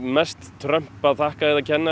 meðst Trump að þakka eð a kenna